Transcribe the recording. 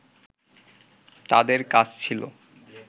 তাদের কাজ ছিল